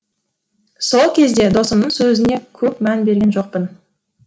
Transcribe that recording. сол кезде досымның сөзіне көп мән берген жоқпын